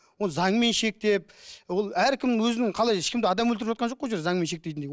оны заңмен шектеп ол әркім өзінің қалай ешкімді адам өлтіріп жатқан жоқ қой ол жерде заңмен шектейтіндей